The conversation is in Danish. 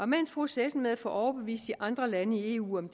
mens processen med at få overbevist andre lande i eu om